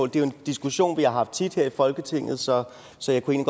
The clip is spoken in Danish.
det er jo en diskussion vi har haft tit her i folketinget så så jeg kunne